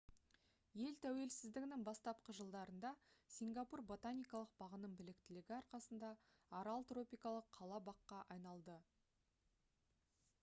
ел тәуелсіздігінің бастапқы жылдарында сингапур ботаникалық бағының біліктілігі арқасында арал тропикалық қала-баққа айналды